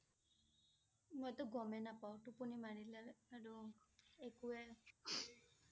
মই টো গমে নাপাওঁ, টোপনি মাৰিলে আৰু একুৱে